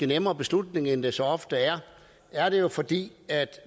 nemmere beslutning end det så ofte er er det jo fordi